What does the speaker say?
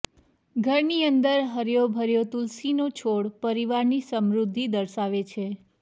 ઘર ની અંદર હર્યો ભર્યો તુલસી નો છોડ પરિવાર ની સમૃદ્ધી દર્શાવે છે